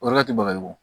O yɔrɔ tɛ baga ye o